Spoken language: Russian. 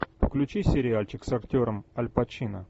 включи сериальчик с актером аль пачино